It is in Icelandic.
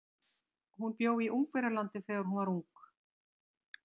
Hún bjó í Ungverjalandi þegar hún var ung.